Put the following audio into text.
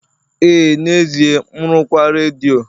ee n'ezie, m rụkwaa redio